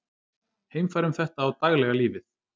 Heimfærum þetta á daglega lífið.